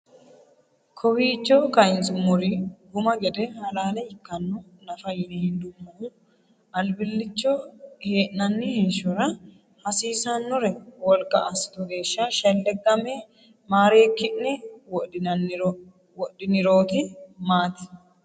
Kowiicho kayinsummori guma gede halaale ikkanno nafa yine hendannihu albillicho hee’nanni heeshshora hasiisannore wolqa assitu geeshsha shelleggamme maareekki’ne wodhinirooti maati?